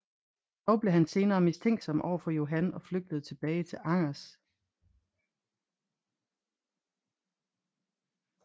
Dog blev han senere mistænksom over for Johan og flygtede tilbage til Angers